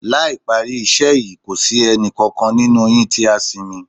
Láì parí iṣẹ́ yín kò sí ẹnì kankan nínú yín tí á sinmi